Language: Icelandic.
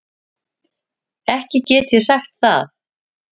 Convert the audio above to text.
Ekki get ég sagt það.